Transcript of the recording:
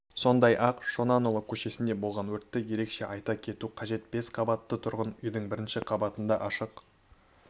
сондай-ақ шонанұлы көшесінде болған өртті ерекше айта кету қажет бес қабатты тұрғын үйдің бірінші қабатында ашық